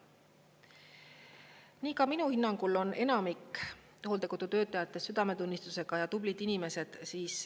Nii ka minu hinnangul on enamik hooldekodu töötajatest südametunnistusega ja tublid inimesed.